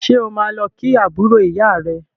Ṣé o máa lọ kí àbúrò ìyá rẹ